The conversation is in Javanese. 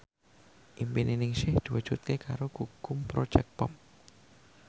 impine Ningsih diwujudke karo Gugum Project Pop